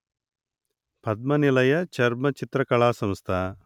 పద్మనిలయ చర్మచిత్రకళా సంస్థ